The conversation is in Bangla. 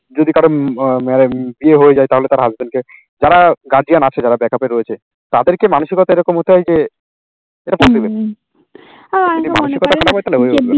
যদি কারো বিয়ে হয়ে যায় তাহলে তাঁর husband কে যারা guardian আছে যারা back up এ রয়েছে তাদেরকে মানসিকতা এরকম হতে হয় যে